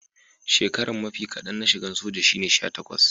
shekaran mafi kadan na shigan soja shine sha takwas.